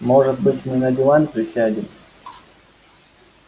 может быть мы на диван присядем